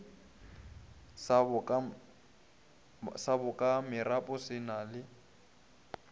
sa bokamoropa se na le